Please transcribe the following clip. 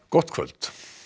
gott kvöld